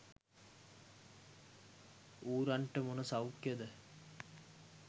ඌරන්ට මොන සෞඛ්‍යයද?